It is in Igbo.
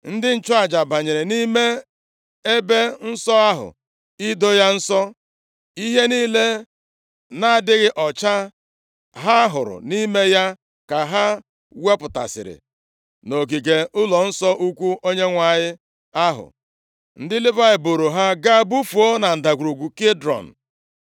Ndị nchụaja banyere nʼime ebe nsọ ahụ ido ya nsọ. Ihe niile na-adịghị ọcha ha hụrụ nʼime ya ka ha wepụtasịrị nʼogige ụlọnsọ ukwu Onyenwe anyị ahụ. Ndị Livayị buuru ha gaa bufuo na Ndagwurugwu Kidrọn.